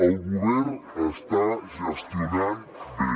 el govern està gestionant bé